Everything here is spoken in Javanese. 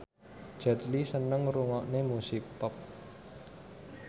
Jet Li seneng ngrungokne musik pop